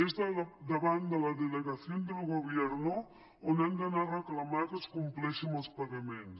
és davant de la delegación del gobierno on han d’anar a reclamar que es compleixi amb els pagaments